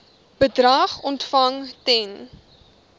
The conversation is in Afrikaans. bedrag ontvang ten